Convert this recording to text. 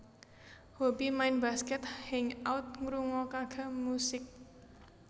Hobi Main basket Hang out ngrungokake musik